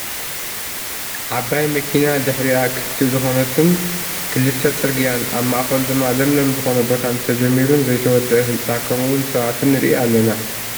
ዓባይ መኪና ድሕሪኣ ክፍቲ ዝኮነትን ክልተ ፅርግያን ኣብ ማእከሉ ድማ ለምለም ዝኮነ ቦታን ተጀሚሩን ዘይተወደኣ ህንፃ ከምኡ እውን ሰባትን ንሪኢ ኣለና።